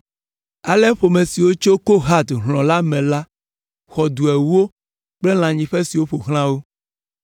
Ale ƒome siwo tso Kohat hlɔ̃ la me la, xɔ du ewo kple lãnyiƒe siwo ƒo xlã wo.